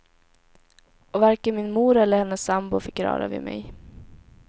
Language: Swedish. Och varken min mor eller hennes sambo fick röra vid mig.